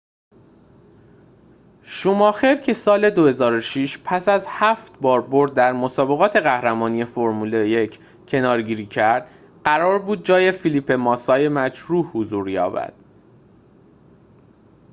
شوماخر که سال ۲۰۰۶ پس از هفت بار برد در مسابقات قهرمانی فرمول ۱ کناره‌گیری کرد قرار بود جای فلیپه ماسای مجروح حضور یابد